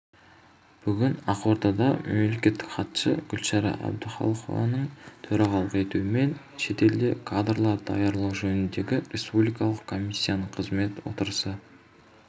бүгін ақордада мемлекеттік хатшы гүлшара әбдіхалықованың төрағалық етуімен шетелде кадрлар даярлау жөніндегі республикалық комиссияның кезекті отырысы